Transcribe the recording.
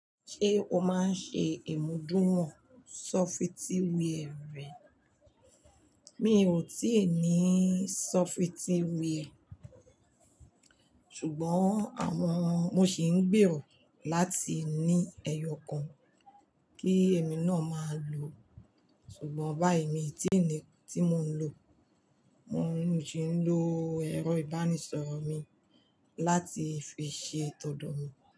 Ṣé o máa ń ṣe ìmúdùn wọ̀n sọfitíwẹẹrì rẹ? Mi ò tíì ní sọfitíwẹẹrì, ṣùgbọ́n àwọn mo sì ń gbèrò láti ní ẹyọ kan kí èmi náà máa lò. Ṣùgbọ́n báyi mi tí ni tí mò ń lò, mò ń sì ń lò ẹ̀rọ ìbánisọ̀rọ̀ mi láti fi ṣe todo mi.